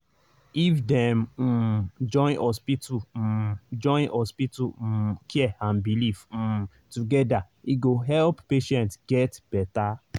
if dem um join hospital um join hospital um care and belief um together e go help patients get better.